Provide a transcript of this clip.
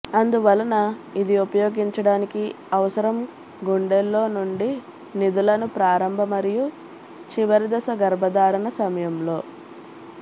అందువలన ఇది ఉపయోగించడానికి అవసరం గుండెల్లో నుండి నిధులను ప్రారంభ మరియు చివరిదశ గర్భధారణ సమయంలో